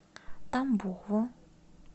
тамбову